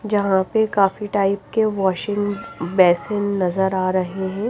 जहां पे काफी टाइप के वाशिंग बेसिन नजर आ रहे हैं।